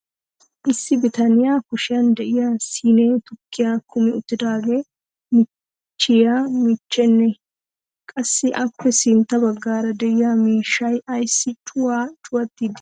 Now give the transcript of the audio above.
issi bitaniya kushiyan diya siinee tukkiya kummi uttidaagee michiiye michchenee? qassi appe sintta bagaara diya miishshay ayssi cuwaa cuwattiidi dii?